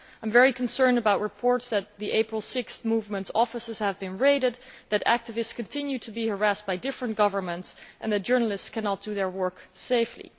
I am very concerned about reports that the 6 April Movement's offices have been raided, that activists have continued to be harassed by different governments and that journalists cannot do their work safely.